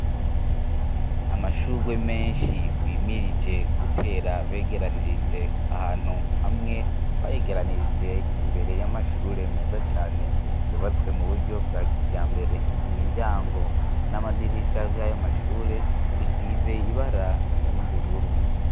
Amashurwe menshi bimirije gutera begeranirije ahantu hamwe, bayegeranirije imbere y'amashure meza cane yubatswe mu buryo bwa kijambere. Imiryango n'amadirisha vy'ayo mashure bisize ibara risa n'ubururu.